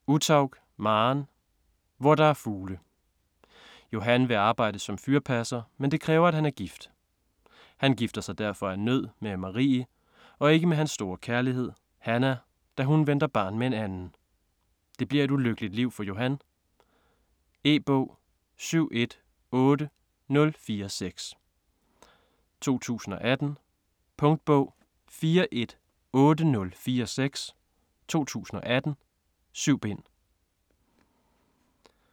Uthaug, Maren: Hvor der er fugle Johan vil arbejde som fyrpasser, men det kræver at han er gift. Han gifter sig derfor af nød med Marie og ikke med hans store kærlighed, Hannah, da hun venter barn med en anden. Det bliver et ulykkeligt liv for Johan. E-bog 718046 2018. Punktbog 418046 2018. 7 bind.